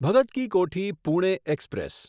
Bhagat ki Kothi Pune express